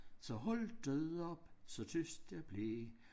Så holdt det op så tyst der blev